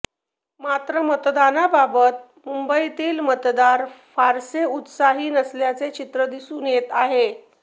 मात्र मतदानाबाबत मुंबईतील मतदार फारसे उत्साही नसल्याचे चित्र दिसून येत आहे